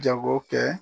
Jago kɛ